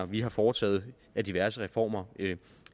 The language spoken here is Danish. vi har foretaget af diverse reformer